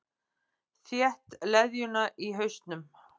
Þétt leðjuna í hausnum.